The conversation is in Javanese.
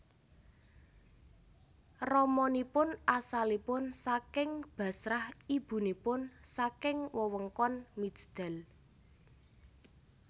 Ramanipun asalipun saking Bashrah ibunipun saking wewengkon Mijdal